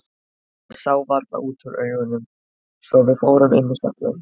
Það sá varla út úr augunum svo að við fórum inn í hjallinn.